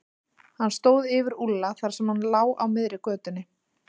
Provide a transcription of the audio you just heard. Hann stóð yfir Úlla þar sem hann lá á miðri götunni.